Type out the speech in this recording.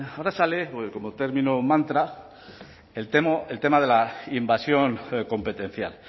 ahora sale como término mantra el tema de la invasión competencial